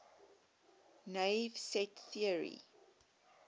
naive set theory